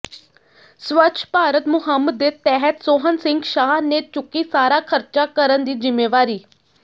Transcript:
ਸਵੱਛ ਭਾਰਤ ਮੁਹਿੰਮ ਦੇ ਤਹਿਤ ਸੋਹਣ ਸਿੰਘ ਸ਼ਾਹ ਨੇ ਚੁੱਕੀ ਸਾਰਾ ਖ਼ਰਚਾ ਕਰਨ ਦੀ ਜ਼ਿੰਮੇਵਾਰੀ